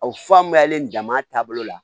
O fa mɛnlen dama taabolo la